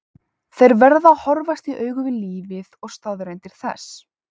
Þeir verða að horfast í augu við lífið og staðreyndir þess.